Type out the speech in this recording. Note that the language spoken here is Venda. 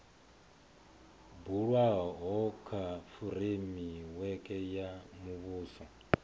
bulwaho kha fureimiweke ya muvhuso